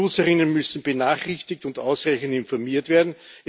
Die User müssen benachrichtigt und ausreichend informiert werden.